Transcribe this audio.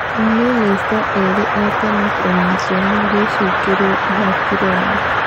Mamĩnĩcita erĩ a tene kũnyitwo magĩcukĩrwo ihaki Rwanda.